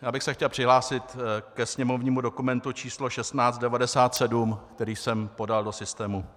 Já bych se chtěl přihlásit ke sněmovnímu dokumentu číslo 1697, který jsem podal do systému.